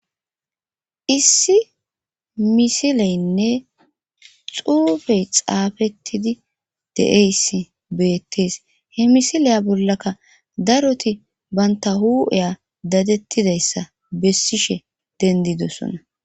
issi misileynne xuufey xaafettidi de'eyssi beettees he misileya bollaka daroti banta hu'eya dadettidayssa bessishe dendidosona.